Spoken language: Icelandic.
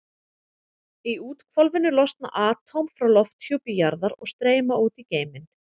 Í úthvolfinu losna atóm frá lofthjúpi jarðar og streyma út í geiminn.